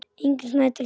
Ingunn Snædal þýddi.